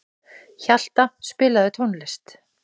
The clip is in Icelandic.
Hjalta, spilaðu tónlist.